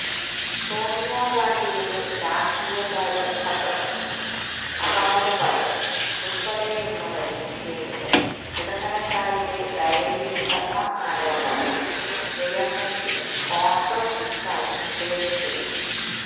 സോണിയാഗാന്ധിയുടെ രാഷ്ട്രീയകാര്യ സെക്രട്ടറി അഹമ്മദ് പട്ടേല് ഉള്പ്പടെയുള്ളവരുടെ പേരുകള് ഇടനിലക്കാരുടെ ഡയറിയിലുണ്ടെന്ന ആരോപണം ഉയര്ന്നെങ്കിലും കോണ്ഗ്രസ് ഇക്കാര്യം നിഷേധിച്ചിരുന്നു